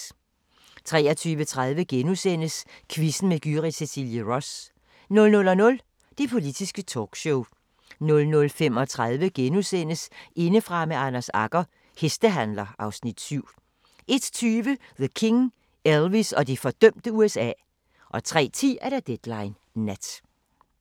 23:30: Quizzen med Gyrith Cecilie Ross * 00:00: Det Politiske Talkshow 00:35: Indefra med Anders Agger – Hestehandler (Afs. 7)* 01:20: The King – Elvis og det fordømte USA 03:10: Deadline Nat